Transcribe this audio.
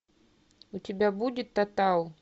у тебя будет тотал